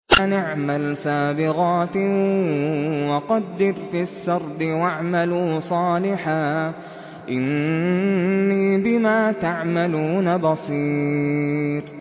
أَنِ اعْمَلْ سَابِغَاتٍ وَقَدِّرْ فِي السَّرْدِ ۖ وَاعْمَلُوا صَالِحًا ۖ إِنِّي بِمَا تَعْمَلُونَ بَصِيرٌ